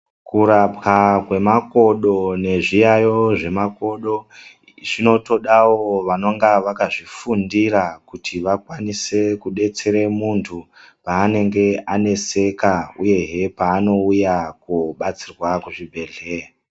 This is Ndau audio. Kurapwa kwemakodo, nezviyayo zvemakodo, zvinotoda wo vanonga vakazvifundira, kuti vakwanise kudetsere munthu paanenge aneseka, uyehe paanouya koobatsirwa kuzvibhedhleya.